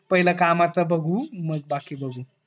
पहिले कामच बगु मग बाकी बगु